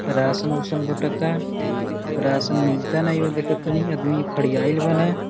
राशन-उसन बटता राशन मिलते नाही देखतानी आदमी खड़ियाइल बाने।